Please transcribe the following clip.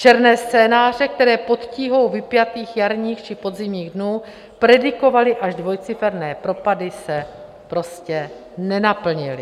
Černé scénáře, které pod tíhou vypjatých jarních či podzimních dnů predikovaly až dvojciferné propady, se prostě nenaplnily.